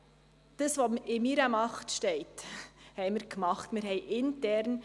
Wir haben das, was in meiner Macht steht, getan.